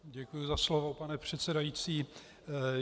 Děkuji za slovo, pane předsedající.